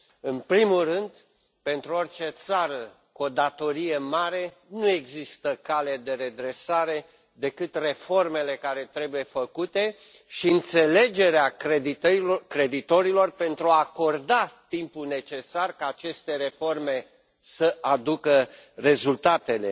În primul rând, pentru orice țară cu o datorie mare, nu există cale de redresare decât reformele care trebuie făcute și înțelegerea creditorilor pentru a acorda timpul necesar ca aceste reforme să aducă rezultatele.